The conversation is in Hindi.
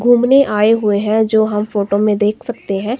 घूमने आए हुए हैं जो हम फोटो में देख सकते हैं।